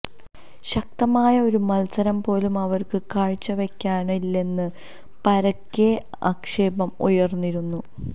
ശക്തമായ ഒരു മത്സരം പോലും അവർക്ക് കാഴ്ചവെക്കാനായില്ലെന്ന് പരക്കെ ആക്ഷേപം ഉയർന്നിരുന്നു